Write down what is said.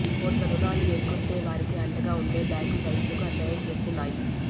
కోట్ల రుణాలు ఎగ్గొట్టే వారికి అండగా ఉండే బ్యాంకులు రైతులకు అన్యాయం చేస్తున్నాయి